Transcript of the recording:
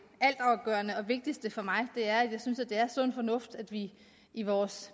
altafgørende og vigtigste for mig det er nemlig at jeg synes det er sund fornuft at vi i vores